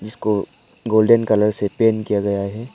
इसको golden colour से paint किया गया है।